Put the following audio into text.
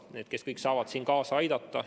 Need kõik saavad siin kaasa aidata.